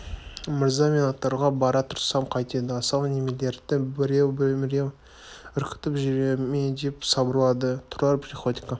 мырза мен аттарға бара тұрсам қайтеді асау немелерді біреу-міреу үркітіп жүре ме деп сыбырлады тұрар приходько